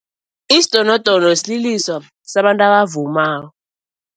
Isidonodono sliliso sabantu abavumako.